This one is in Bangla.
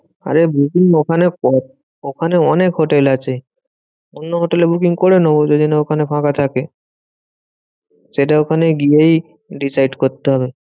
আরে booking ওখানেও করা ওখানে অনেক হোটেল আছে। অন্য হোটেলে booking করে নেবো যদি না ওখানে ফাঁকা থাকে। সেটা ওখানে গিয়েই decide করতে হবে।